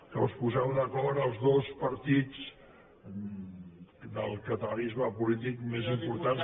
que us poseu d’acord els dos partits del catalanisme polític més importants